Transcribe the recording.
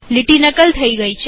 લીટી નકલ થઇ ગઈ